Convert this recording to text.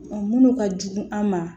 Minnu ka jugu an ma